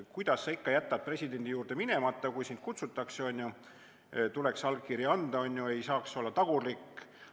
Kuidas sa ikka jätad presidendi juurde minemata, kui sind kutsutakse, on ju, tuleks allkiri anda, on ju, ei saaks olla tagurlik.